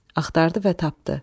Axtardı və tapdı.